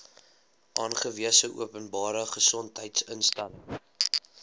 aangewese openbare gesondheidsinstelling